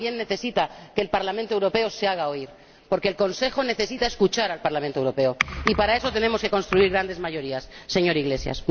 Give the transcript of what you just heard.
También necesita que el Parlamento Europeo se haga oír, porque el Consejo necesita escuchar al Parlamento Europeo, y para eso tenemos que construir grandes mayorías, señor Iglesias.